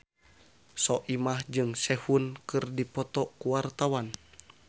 Soimah jeung Sehun keur dipoto ku wartawan